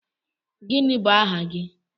Gịnị bụ aha gị?